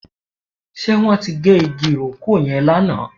Ṣe wọn tí gé igi ìrókò yẹn lánàá?